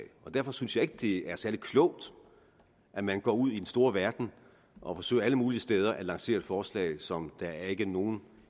og derfor synes jeg ikke det er særlig klogt at man går ud i den store verden og forsøger alle mulige steder at lancere et forslag som der ikke er nogen